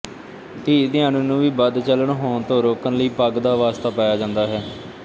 ਧੀ ਧਿਆਣੀ ਨੂੰ ਵੀ ਬਦਚਲਣ ਹੋਣ ਤੋਂ ਰੋਕਣ ਲਈ ਪੱਗ ਦਾ ਵਾਸਤਾ ਪਾਇਆ ਜਾਂਦਾ ਹੈ